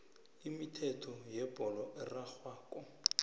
imithetho yebholo erarhwako